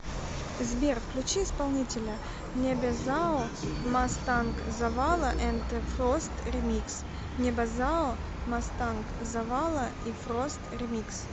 сбер включи исполнителя небезао мастанк завала энд фрост ремикс небезао мастанк завала и фрост ремикс